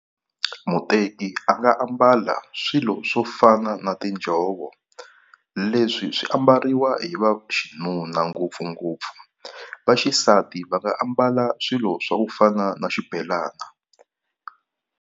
Muteki a nga ambala swilo swo fana na tinjhovo, leswi swi ambariwa hi vaxinuna ngopfungopfu. Vaxisati va nga ambala swilo swa ku fana na xibelana.